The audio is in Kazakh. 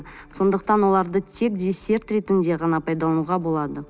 сондықтан оларды тек десерт ретінде пайдалануға болады